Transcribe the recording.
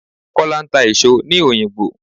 Kọ́lá ń ta èso ní òyìngbò.